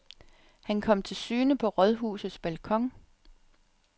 Han kom til syne på rådhusets balkon.